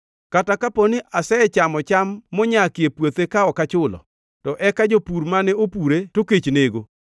kata kapo ni asechamo cham monyakie puothe ka ok achulo, to eka jopur mane opure to kech nego,